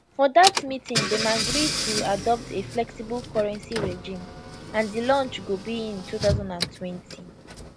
for dat meeting dem agree to adopt a flexible currency regime and di launch go be in 2020